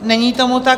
Není tomu tak.